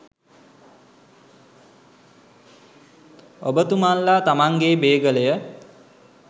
ඔබ තුමන්ලා තමන්ගේ බේගලය